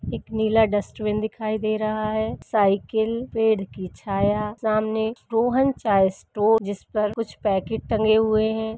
एक नीला डस्टबिन दिखाई दे रहा है साइकल पेड़ की छाया सामने रोहन चाय स्टोर जिस पर कुछ पैकेट टंगे हुए हैं।